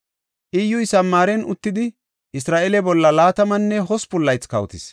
Iyyuy Samaaren uttidi Isra7eele bolla laatamanne hospun laythi kawotis.